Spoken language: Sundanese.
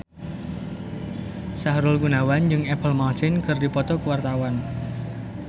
Sahrul Gunawan jeung Apple Martin keur dipoto ku wartawan